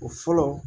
O fɔlɔ